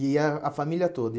Ia a família toda?